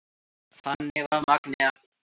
Þannig var Magnea.